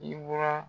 I mura